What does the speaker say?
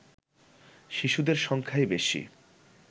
শিশুদের সংখ্যাই বেশি